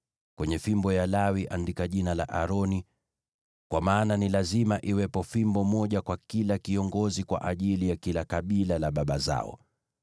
Kwenye fimbo ya Lawi andika jina la Aroni, kwa maana ni lazima iwepo fimbo moja kwa kila kiongozi kwa ajili ya kila kabila la baba zao.